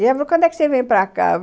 E ela falou, quando é que você vem para cá?